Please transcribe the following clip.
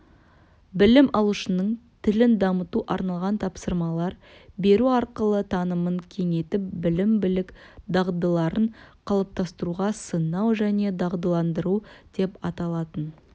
білім алушының тілін дамыту арналған тапсырмалар беру арқылы танымын кеңейтіп білім-білік дағдыларын қалыптастыруға сынау және дағдыландыру деп аталатын